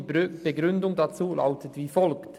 Die Begründung dazu lautet wie folgt: